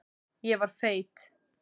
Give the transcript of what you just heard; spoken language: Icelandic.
Ég var feit.